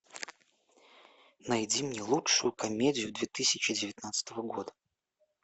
найди мне лучшую комедию две тысячи девятнадцатого года